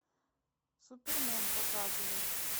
супермен показывай